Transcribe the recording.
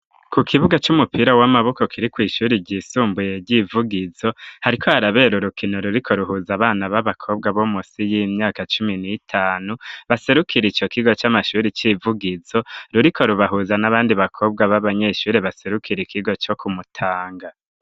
Ku kibuga c'umupira w'amaboko kiri kw ishuri ryisumbuye ry'ivugizo hariko harabera urukino ruriko rurahuza abana b'abakobwa bo musi y'imyaka cumi n'itanu baserukira ico kigo c'amashuri y'ivugizo ruriko rubahuza n'abandi bakobwa b'abanyeshuri baserukira ikigo co ku mutanga.